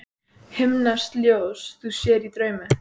Himneskt ljós þú sér í draumi.